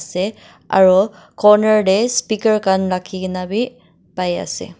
ase aro corner de speaker khan rakhi gina b pai ase.